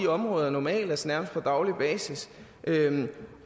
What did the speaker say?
områder normalt nærmest på daglig basis